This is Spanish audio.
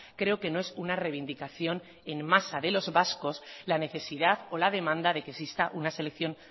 creo que no es una reivindicación en masa de los vascos la necesidad o la demanda de que exista una selección